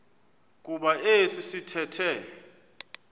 kuba esi sithethe